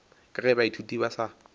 ka ge baithuti ba sa